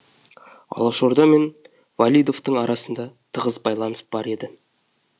алашорда мен валидовтың арасында тығыз байланыс бар еді